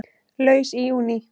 Laus í júní